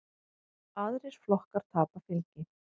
Aðrir flokkar tapa fylgi.